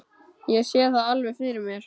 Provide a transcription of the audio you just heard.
Ég sé það alveg fyrir mér.